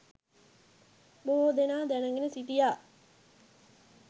බොහෝ දෙනා දැනගෙන සිටියා